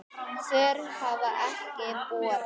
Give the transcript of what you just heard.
Svör hafa ekki borist.